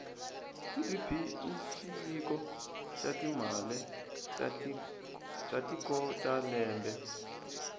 gdp ishiviko shatimale tatikotalembe